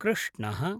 कृष्णः